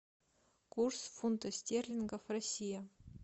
курс фунта стерлингов россия